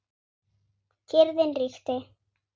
Kyrrðin ríkti.